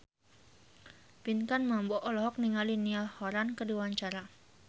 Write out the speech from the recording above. Pinkan Mambo olohok ningali Niall Horran keur diwawancara